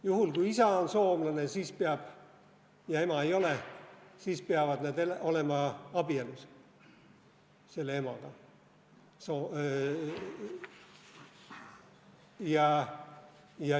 Juhul, kui isa on soomlane ja ema ei ole, siis peavad nad olema abielus.